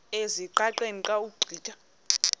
ezingqaqeni xa ugqitha